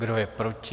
Kdo je proti?